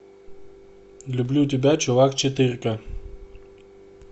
люблю тебя чувак четырка